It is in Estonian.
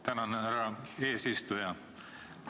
Tänan, härra eesistuja!